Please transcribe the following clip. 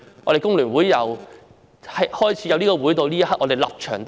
我們工聯會自創會至今，立場仍是一樣。